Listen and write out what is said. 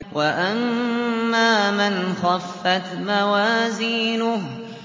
وَأَمَّا مَنْ خَفَّتْ مَوَازِينُهُ